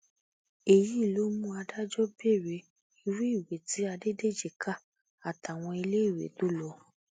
èyí ló mú adájọ béèrè irú ìwé tí adédèjì kà àtàwọn iléèwé tó lò